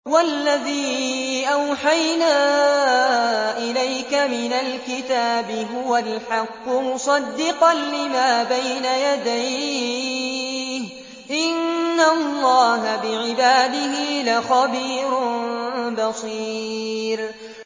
وَالَّذِي أَوْحَيْنَا إِلَيْكَ مِنَ الْكِتَابِ هُوَ الْحَقُّ مُصَدِّقًا لِّمَا بَيْنَ يَدَيْهِ ۗ إِنَّ اللَّهَ بِعِبَادِهِ لَخَبِيرٌ بَصِيرٌ